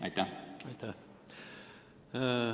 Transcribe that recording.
Aitäh!